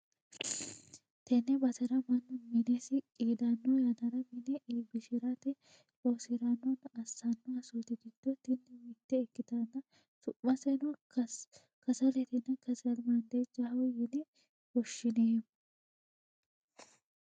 tenne basera mannu minesi qiidanno yannara mine iibbishshi'rate loosi'rannonna assanno assooti giddo tini mitte ikkitanna su'maseno kasaletenna kasalimaadejaho yine woshshi'neemmo.